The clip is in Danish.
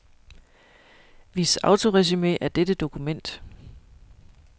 Vis autoresumé af dette dokument.